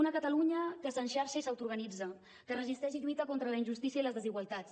una catalunya que s’enxarxa i s’autoorganitza que resisteix i lluita contra la injustícia i les desigualtats